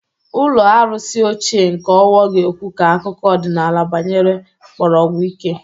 Ụlọ arụsị ochie nke Owo ga-ekwu ka akụkọ ọdịnala gbanyere mkpọrọgwụ ike.